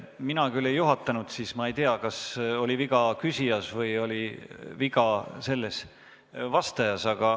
Mina küll ei juhatanud siis ja ma ei tea, kas oli viga küsijas või oli viga vastajas.